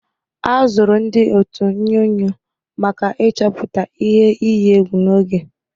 A zụrụ ndị ótù onyunyo maka ịchọpụta ihe iyi egwu n'oge.